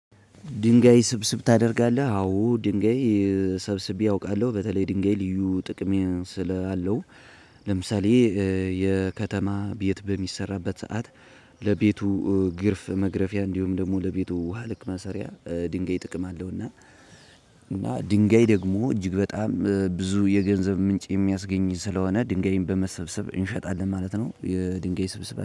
ድንጋይ ስብስብ ታደርጋለህ አዎ ድንጋይ ሰብስቤ አውቃለሁ በተለይ ድንጋይ ልዩ ጥቅም ስላለው አለው። ለምሳሌ የከተማ ቤት በሚሰራበት ሰዓት። ለቤቱ ግርፍ መግረፊያ እንዲሁም ደግሞ ለቤቱ ውሃ ልክ መሰሪያ ድንጋይ ጥቅም አለው። እና እና ድንጋይ ደግሞ እጅግ በጣም ብዙ የገንዘብ ምንጭ የሚያስገኝ ስለሆነ ድንጋይን በመሰብሰብ እንሸጣለን ማለት ነው። የድንጋይ ስብስብ